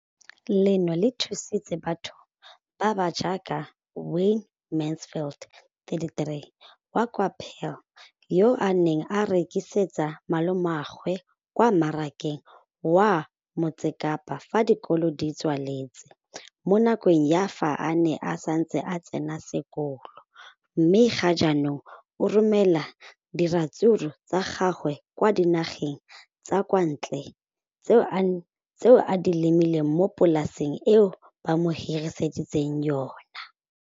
Leno le thusitse batho ba ba jaaka Wayne Mansfield, 33, wa kwa Paarl, yo a neng a rekisetsa malomagwe kwa Marakeng wa Motsekapa fa dikolo di tswaletse, mo nakong ya fa a ne a santse a tsena sekolo, mme ga jaanong o romela diratsuru tsa gagwe kwa dinageng tsa kwa ntle tseo a di lemileng mo polaseng eo ba mo hiriseditseng yona.